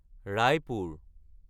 Raipur